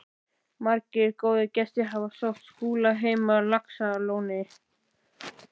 Margir góðir gestir hafa sótt Skúla heim á Laxalóni.